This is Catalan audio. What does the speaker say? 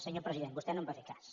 senyor president vostè no en va fer cas